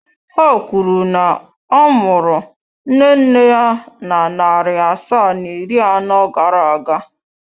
Ha kwuru na a mụrụ nne nne ya na narị asaa na iri anọ gara aga.